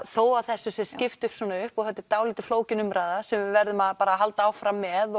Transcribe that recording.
þó að þessu sé skipt svona upp og þetta er dálítið flókin umræða sem við verðum að halda áfram með